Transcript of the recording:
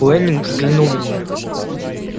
уэлэннинг взглянул на нее